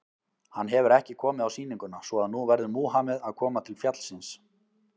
Hann hefur ekki komið á sýninguna, svo að nú verður Múhameð að koma til fjallsins.